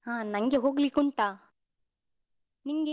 ಹ ನಂಗೆ ಹೋಗ್ಲಿಕ್ಕುಂಟ, ನಿಂಗೆ?